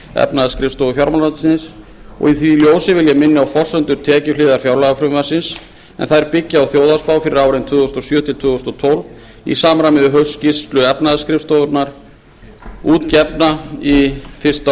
efnahagsskrifstofu fjármálaráðuneytisins í því ljósi vil ég minna á að forsendur tekjuhliðar fjárlagafrumvarpsins byggja á þjóðhagsspá fyrir árin tvö þúsund og sjö til tvö þúsund og tólf í samræmi við haustskýrslu efnahagsskrifstofunnar sem gefin var út fyrsta